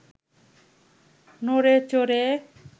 নড়ে চড়ে